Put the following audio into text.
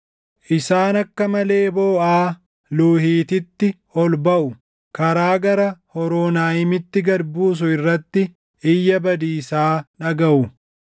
Isaan akka malee booʼaa, Luuhiitiitti ol baʼu; karaa gara Hooronaayimitti gad buusu irratti iyya badiisaa dhagaʼu.